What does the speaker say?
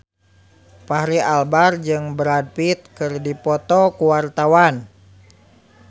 Fachri Albar jeung Brad Pitt keur dipoto ku wartawan